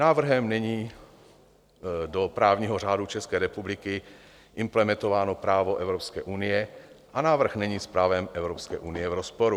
Návrhem není do právního řádu České republiky implementováno právo Evropské unie a návrh není s právem Evropské unie v rozporu.